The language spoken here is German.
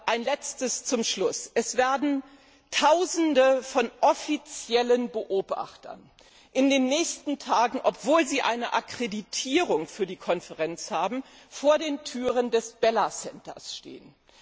Ein Letztes zum Schluss Es werden Tausende von offiziellen Beobachtern in den nächsten Tagen obwohl sie eine Akkreditierung für die Konferenz haben vor den Türen des Bella Centers stehen.